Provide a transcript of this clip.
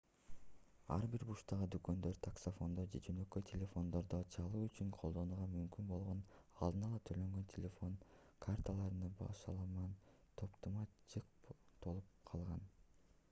ар бир бурчтагы дүкөндөр таксафондон же жөнөкөй телефондордон чалуу үчүн колдонууга мүмкүн болгон алдын-ала төлөнгөн телефон карталарынын башаламан топтомуна жык толуп калган